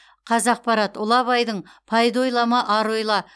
қазақпарат ұлы абайдың пайда ойлама ар ойла